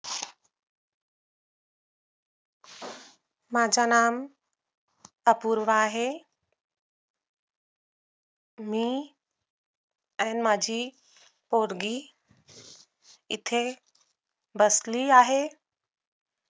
माझं नाम अपूर्वा आहे मी आणि माझी पोरगी इथे बसली आहे